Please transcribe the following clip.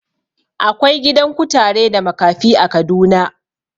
Akwai gidan kutare da makafi a Kaduna.